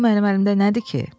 Bu mənim əlimdə nədir ki?